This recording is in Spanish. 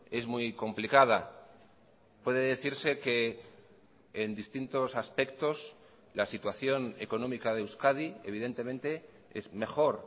es muy complicada puede decirse que en distintos aspectos la situación económica de euskadi evidentemente es mejor